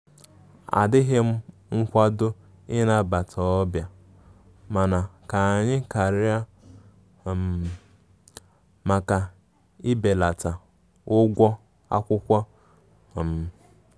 Adighim nkwado ị nabata obia mana ka anyi karia um maka ịbelata ụgwọ akwụkwo um